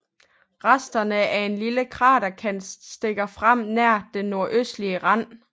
Resterne af en lille kraterkant stikker frem nær den nordøstlige rand